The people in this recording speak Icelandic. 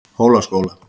Hólaskóla